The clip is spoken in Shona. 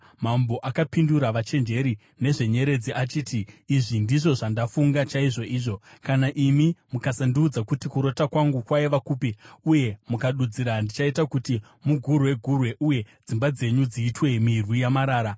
Mambo akapindura vachenjeri vezvenyeredzi achiti, “Izvi ndizvo zvandafunga chaizvoizvo: Kana imi mukasandiudza kuti kurota kwangu kwaiva kupi uye mukadudzira, ndichaita kuti mugurwe-gurwe uye dzimba dzenyu dziitwe mirwi yamarara.